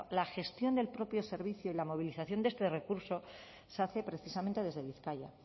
la gestión del propio servicio y la movilización de este recurso se hace precisamente desde bizkaia